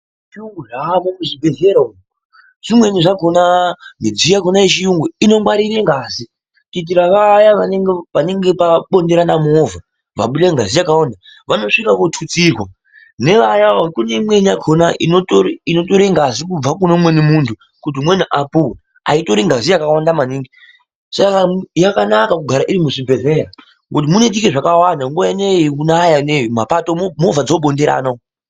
Zviyungu zvamo muzvibhedhlera umo zvimweni zvakona midziyo yechiyungu inongwarire ngazi kuitire vaya panenge pabonderana movha vabuda ngazi yakawanda vanosvika votutsirwa nevaya kune imweni yakona inotore ngazi kubva kune umweni muntu kuti umweni apuwe, aitori ngazi yakawanda maningi yakanaka kugara irimuzvibhedhlera ngokuti munoitike zvakawanda nguwa inei yekunaya ine mumapato movha dzinobinderana umo.